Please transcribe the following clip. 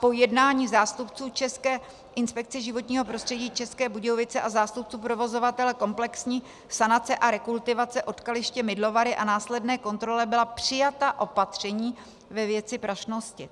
Po jednání zástupců České inspekce životního prostředí České Budějovice a zástupců provozovatele komplexní sanace a rekultivace odkaliště Mydlovary a následné kontrole byla přijata opatření ve věci prašnosti.